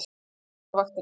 Sofnað á vaktinni.